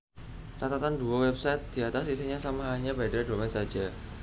Catatan Dua website diatas isinya sama hanya beda Domain saja